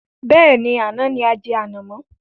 Bẹ́ẹ̀ni, àná ni ajẹ ànàmọ̀.